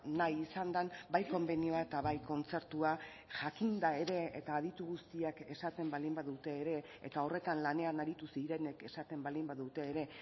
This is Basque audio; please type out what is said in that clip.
nahi izan den bai konbenioa eta bai kontzertua jakinda ere eta aditu guztiak esaten baldin badute ere eta horretan lanean aritu zirenek esaten baldin badute ere